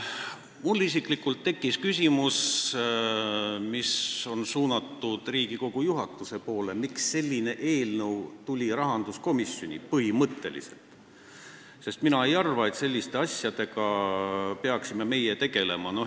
Mul isiklikult tekkis küsimus, mis on suunatud Riigikogu juhatuse poole, miks tuli selline eelnõu rahanduskomisjoni, põhimõtteliselt, sest mina ei arva, et selliste asjadega peaksime tegelema meie.